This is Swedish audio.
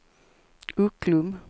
Ucklum